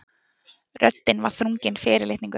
Röddin var þrungin fyrirlitningu.